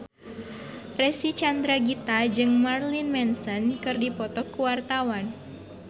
Reysa Chandragitta jeung Marilyn Manson keur dipoto ku wartawan